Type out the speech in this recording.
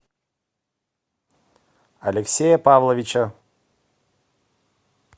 алексея павловича